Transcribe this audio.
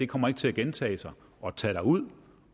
kommer til at gentage sig og tage derud